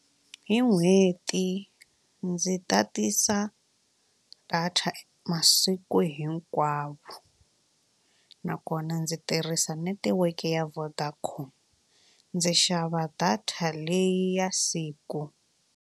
Hi n'hweti ndzi tatisa data masiku hinkwawo nakona ndzi tirhisa netiweke ya Vodacom ndzi xava data leyi ya siku.